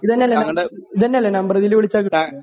ഇതന്നെയല്ലേ number? ഇത് തന്നെയല്ലേ number ഇതില് വിളിച്ചാല്